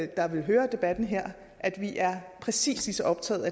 der vil høre debatten her at vi er præcis ligeså optaget